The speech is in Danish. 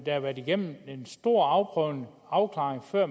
har været igennem en stor afprøvning og afklaring før